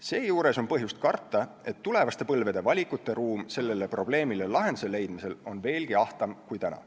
Seejuures on põhjust karta, et tulevaste põlvede valikuruum sellele probleemi lahenduse leidmisel on veelgi ahtam kui nüüd.